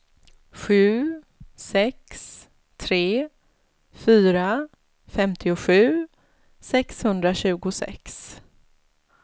sju sex tre fyra femtiosju sexhundratjugosex